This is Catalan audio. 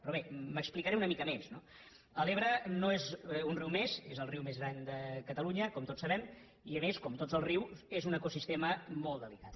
però bé m’explicaré una mica més no l’ebre no és un riu més és el riu més gran de catalunya com tots sabem i a més com tots els rius és un ecosistema molt delicat